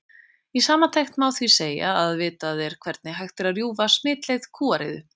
Í samantekt má því segja að vitað er hvernig hægt er að rjúfa smitleið kúariðu.